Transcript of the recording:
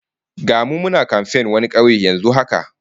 Ga mu muna kamfen wani kauye yanzu haka